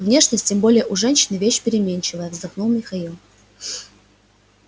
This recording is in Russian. внешность тем более у женщины вещь переменчивая вздохнул михаил